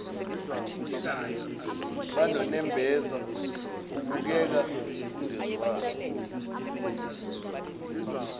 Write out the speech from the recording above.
banonembeza kubukeka kungezwanwa